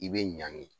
I bɛ ɲangi